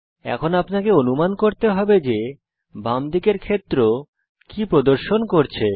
এখন আপনাকে অনুমান করতে হবে যে বাম দিকের ক্ষেত্র কি প্রদর্শন করছে